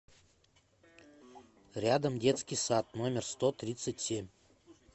рядом детский сад номер сто тридцать семь